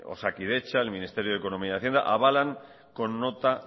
osakidetza el ministerio de economía y hacienda avalan con nota